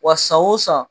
Wa san o san